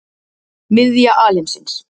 Miðja alheimsins.